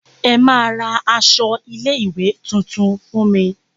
Ẹ máa ra aṣọ ilé ìwé tuntun fún me.